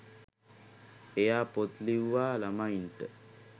එයා පොත් ලිව්වා ළමයින්ට